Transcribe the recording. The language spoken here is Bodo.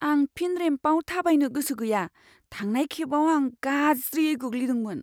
आं फिन रेम्पआव थाबायनो गोसो गैया। थांनाय खेबाव आं गाज्रियै गोग्लैदोंमोन।